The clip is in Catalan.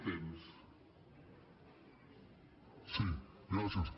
sí gràcies